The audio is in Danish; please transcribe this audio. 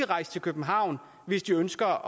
rejse til københavn hvis de ønsker